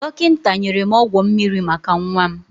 Dokinta nyere m ọgwọ mmiri maka nwa m.